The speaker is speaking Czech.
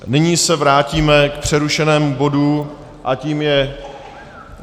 Nyní se vrátíme k přerušenému bodu a tím je